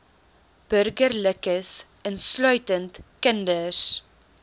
burgerlikes insluitend kinders